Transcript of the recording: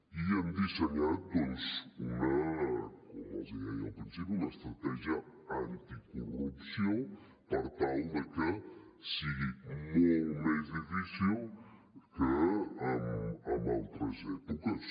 i hem dissenyat doncs com els deia al principi una estratègia anticorrupció per tal que sigui molt més difícil que en altres èpoques